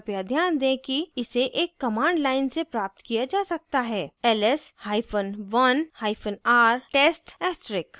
कृपया ध्यान दें कि इसे एक command line से प्राप्त किया जा सकता है ls1 hyphen oner hyphen r test * test asterix